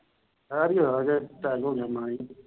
ਕਹਿਰ ਹੀ ਹੋਇਆ। attack ਹੋ ਗਿਆ।